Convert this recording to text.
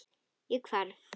Ég hverf.